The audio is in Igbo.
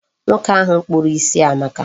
Nwoke ahụ kpuru isi amaka.